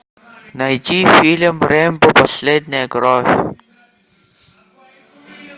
найти фильм рэмбо последняя кровь